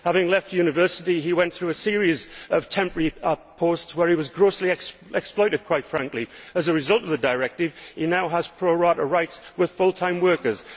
Having left university, he went through a series of temporary posts where he was grossly exploited, quite frankly. As a result of the directive, he now has pro rata rights with full time workers.